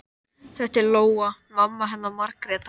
Þetta er Lóa, mamma hennar Margrétar.